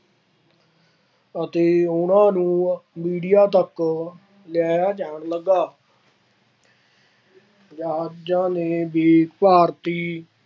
ਅਤੇ ਉਹਨਾ ਨੂੰ ਮੀਡੀਆ ਤੱਕ ਲਿਆਇਆ ਜਾਣ ਲੱਗਾ। ਜਹਾਜ਼ਾਂ ਨੇ ਭਾਰਤੀ